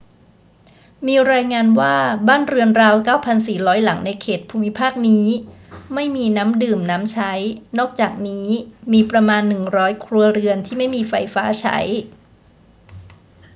มีรายงานว่าบ้านเรือนราว 9,400 หลังในเขตภูมิภาคนี้ไม่มีน้ำดื่มน้ำใช้ นอกจากนี้มีประมาณ 100 ครัวเรือนที่ไม่มีไฟฟ้าใช้